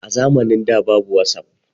A zamanin da babu wasap